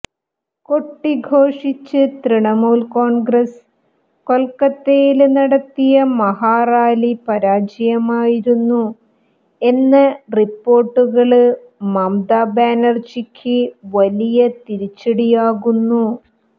കൊട്ടിഘോഷിച്ച് തൃണമൂല് കോണ്ഗ്രസ്സ് കൊല്ക്കത്തയില് നടത്തിയ മഹാറാലി പരാജയമായിരുന്നു എന്ന റിപ്പോര്ട്ടുകള് മമത ബാനര്ജിക്ക് വലിയ തിരിച്ചടിയാകുന്നു